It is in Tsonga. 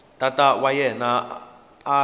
tata wa yena a n